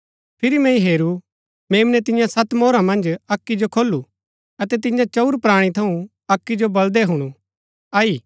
फिरी मैंई हेरू मेम्नै तियां सत मोहरा मन्ज अक्की जो खोलू अतै तियां चंऊर प्राणी थऊँ अक्की जो बलदै हुणु आई